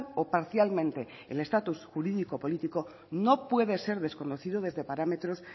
o parcialmente el estatus jurídico político no puede ser desconocido desde parámetros